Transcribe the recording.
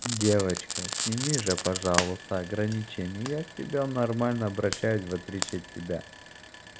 девочка сними же пожалуйста ограничения я к тебе нормально обращаюсь в отличие от тебя